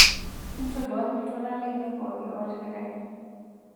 intoduaki iltualan lainei pooki ootipikaki